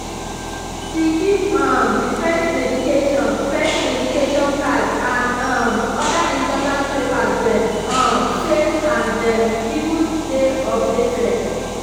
she keep um the pet medication pet medication card and um other important papers them um safe and them even dey updated